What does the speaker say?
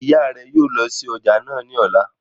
Ṣé ìyá rẹ yóò lọ sí ọjà náà ní ọ̀la?